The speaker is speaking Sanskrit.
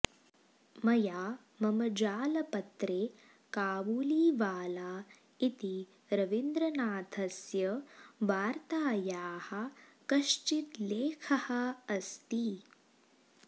मया मम जालपत्रे काबुलीवाला इति रविन्द्रनाथस्य वार्तायाः कश्चित् लेखः अस्ति